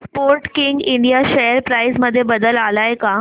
Sportking India share price मध्ये बदल आलाय का